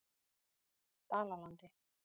Dalalandi